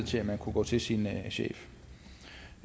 til at kunne gå til sin chef